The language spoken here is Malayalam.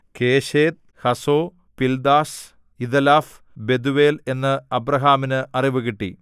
Chesed Hazo Pildash Jidlaph Bethuel എന്ന് അബ്രാഹാമിനു അറിവ് കിട്ടി